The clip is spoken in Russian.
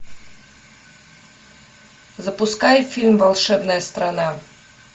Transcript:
запускай фильм волшебная страна